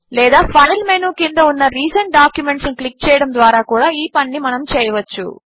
లేదా file menu క్రింద ఉన్న రిసెంట్ డాక్యుమెంట్స్ ను క్లిక్ చేయడము ద్వారా కూడా ఈ పనిని చేయవచ్చు